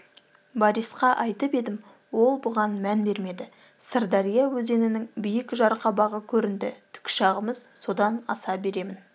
борисқа айтып едім ол бұған мән бермеді сырдария өзенінің биік жарқабағы көрінді тікұшағымыз содан аса беремін